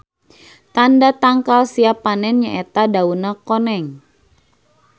Tanda tangkal siap panen nya eta dauna koneng.